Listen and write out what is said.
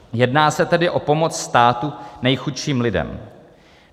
Jedná se tedy o pomoc státu nejchudším lidem.